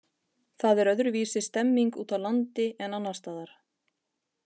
Það er öðruvísi stemming úti á landi en annarsstaðar.